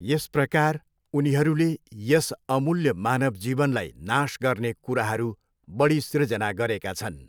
यस प्रकार उनीहरूले यस अमूल्य मानव जीवनलाई नाश गर्ने कुराहरू बढी सिर्जना गरेका छन्।